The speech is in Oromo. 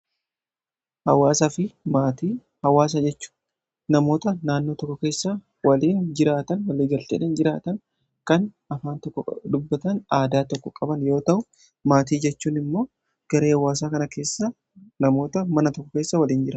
hawaasa fi maatii hawaasa jechu namoota naannoo tokko keessa waliin jiraatan waliigalteedhan jiraatan kan afaan tokko dubbatan aadaa tokko qaban yoo ta'u maatii jechuun immoo garee hawaasaa kana keessa namoota mana tokko keessa waliin jira